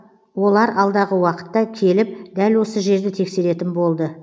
олар алдағы уақытта келіп дәл осы жерді тексеретін болды